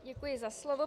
Děkuji za slovo.